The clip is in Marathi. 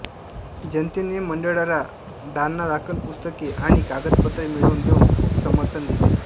जनतेने मंडळाला दानादाखल पुस्तके आणि कागदपत्रे मिळवून देऊन खूप समर्थन दिले